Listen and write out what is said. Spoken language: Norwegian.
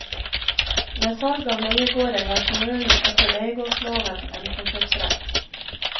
Ved salg av leiegårder har kommunen etter leiegårdsloven en forkjøpsrett.